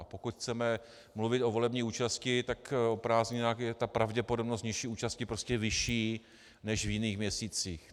A pokud chceme mluvit o volební účasti, tak o prázdninách je ta pravděpodobnost nižší účasti prostě vyšší než v jiných měsících.